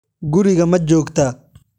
guriga ma joogtaa?